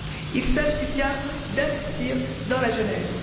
Il s'agit bien d'investir dans la jeunesse.